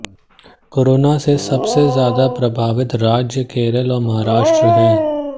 corona से सबसे ज्यादा प्रभावित राज्य केरल और महाराष्ट्र है